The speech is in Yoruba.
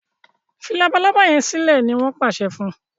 fí Labalábá yén silẹ! ní wón pàṣẹ fún.